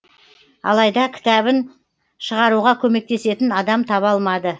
алайда кітабын шығаруға көмектесетін адам таба алмады